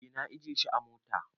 Eh na ajiye shi a mota.